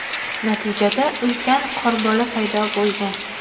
Natijada ulkan qorbola paydo bo‘lgan.